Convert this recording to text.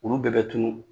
Olu bɛɛ bɛ tunun